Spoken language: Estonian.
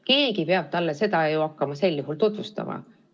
Keegi peab ju sel juhul hakkama talle seda tutvustama.